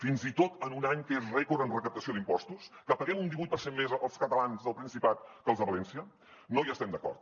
fins i tot en un any que és rècord en recaptació d’impostos que paguem un divuit per cent més els catalans del principat que els de valència no hi estem d’acord